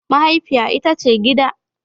Mahaifiya ita ce gida.